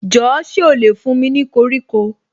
Jọ̀ọ́ ṣé ó lè fún mi ní koríko